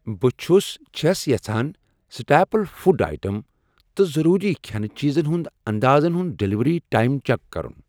بہٕ چھس چھَس یژھان سٹاپلِ فُڈ ایٹم تہٕ ضٔروٗری کھیٚنہٕ چیٖز ہُنٛد انٛدازَن ہُند ڈیلیوری ٹایم چیک کرُن۔